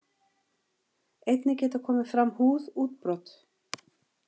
Einnig geta komið fram húðútbrot.